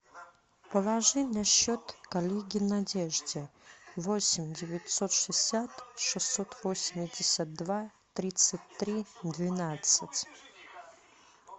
положи на счет коллеге надежде восемь девятьсот шестьдесят шестьсот восемьдесят два тридцать три двенадцать